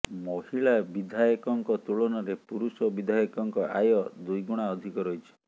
ମହିଳା ବିଧାୟିକଙ୍କ ତୁଳନାରେ ପୁରୁଷ ବିଧାୟକଙ୍କ ଆୟ ଦ୍ୱିଗୁଣା ଅଧିକ ରହିଛି